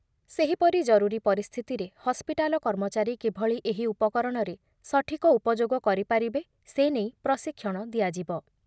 ସେହିପରି ଜରୁରୀ ପରିସ୍ଥିତିରେ ହସ୍ପିଟାଲ କର୍ମଚାରୀ କିଭଳି ଏହି ଉପକରଣରେ ସଠିକ ଉପଯୋଗ କରିପାରିବେ ସେ ନେଇ ପ୍ରଶିକ୍ଷଣ ଦିଆଯିବ ।